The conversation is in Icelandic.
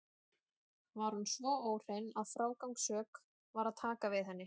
Var hún svo óhrein að frágangssök var að taka við henni.